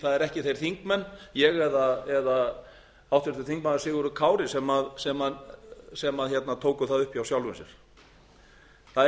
það eru ekki þeir þingmenn ég eða háttvirtur þingmaður sigurður kári sem tóku það upp hjá sjálfum sér það er